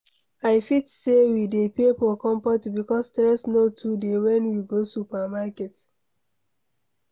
i fit sey we dey pay for comfort because stress no too dey when we go supermarket